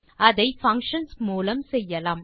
அதை பங்ஷன்ஸ் மூலம் செய்யலாம்